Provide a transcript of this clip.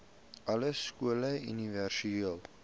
alle skole universele